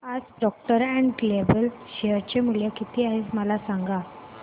आज Procter and Gamble चे share मूल्य किती आहे मला सांगा